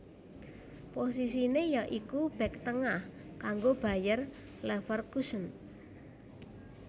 Posisiné ya iku bèk tengah kanggo Bayer Leverkusen